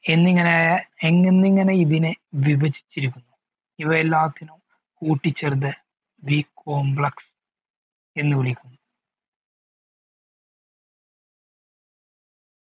എന്നിങ്ങനെ എന്നിങ്ങനിങ്ങനെ വിഭജിചിരികുന്നു ഇവയെല്ലാത്തിനും കൂട്ടി ചേർത്ത് B complex എന്ന് വിളിക്കുന്നു